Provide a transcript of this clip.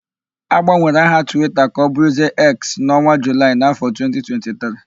Agbanwere aha Twita ka ọbụrụzie Eks n'ọnwa Julaị n'áfọ̀ 2023.